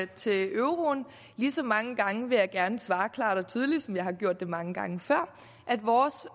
til euroen lige så mange gange vil jeg gerne svare klart og tydeligt som jeg har gjort det mange gange før at vores